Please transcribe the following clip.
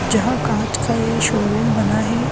जहां कांच का ये शोरूम बना है।